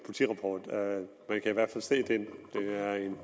i hvert fald se det er en